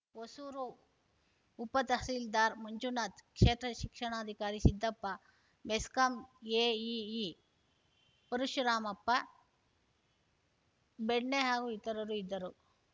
ಹೊಸೂರು ಉಪತಹಸೀಲ್ದಾರ್‌ ಮಂಜುನಾಥ್‌ ಕ್ಷೇತ್ರ ಶಿಕ್ಷಣಾಧಿಕಾರಿ ಸಿದ್ದಪ್ಪ ಮೆಸ್ಕಾಂ ಎಇಇ ಪರಶುರಾಮಪ್ಪ ಬೆಣ್ಣೆ ಹಾಗು ಇತರರು ಇದ್ದರು